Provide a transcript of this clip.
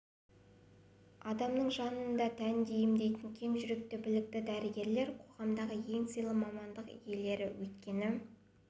адамның жанын да тәнін де емдейтін кең жүректі білікті дәрігерлер қоғамдағы ең сыйлы мамандық иелері өйткені